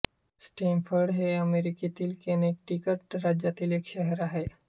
Stamford हे अमेरिकेतील Connecticut राज्यातील एक शहर आहे